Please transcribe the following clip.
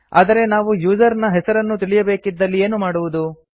ಆದರೆ ನಾವು ಯೂಸರ್ ನ ಹೆಸರನ್ನು ತಿಳಿಯಬೇಕಿದಲ್ಲಿ ಏನು ಮಾಡುವುದು